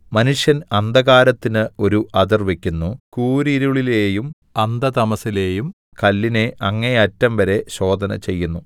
മനുഷ്യൻ അന്ധകാരത്തിന് ഒരു അതിർ വയ്ക്കുന്നു കൂരിരുളിലെയും അന്ധതമസ്സിലെയും കല്ലിനെ അങ്ങേയറ്റംവരെ ശോധനചെയ്യുന്നു